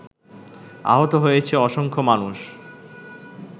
আহত হয়েছে অসংখ্য মানুষ